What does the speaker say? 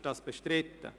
Ist dieser bestritten?